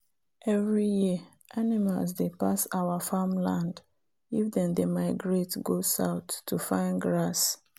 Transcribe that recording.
every year animals dey pass our farm land if them dey migrate go south to find grass